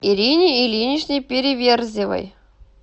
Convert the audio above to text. ирине ильиничне переверзевой